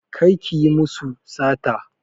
Kar ki yi musu sata!